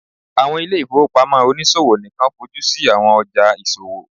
awọn ile-ifowopamọ oniṣowo nikan fojusi awọn ọja iṣowo